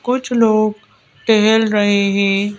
कुछ लोग ठहल रहे है।